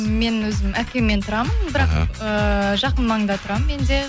мен өзім әкеммен тұрамын бірақ эээ жақын маңда тұрамын мен де